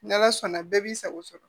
N'ala sɔnna bɛɛ b'i sago sɔrɔ